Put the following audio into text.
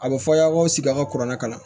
A bɛ fɔ aw ye aw k'aw sigi aw ka kuranna kalan